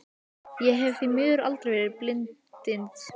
Ég hef því miður aldrei verið bindindismaður.